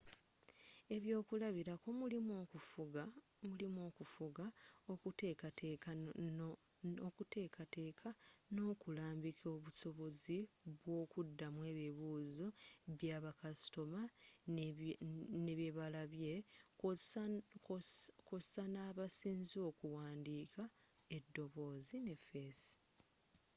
ebyokulabirako mulimu okufuga okuteekateeka n'okulambika obusobozi bwokudamu ebibuuzo byabakasitoma ne byebalabye kwosa n'abasinze okuwandiika edoboozi ne feesi